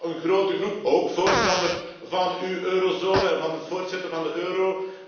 Dan is er nog een grote groep, ook voorstander van uw eurozone en van het voortzetten van de euro.